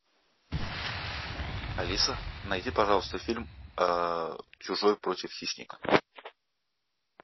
алиса найди пожалуйста фильм чужой против хищника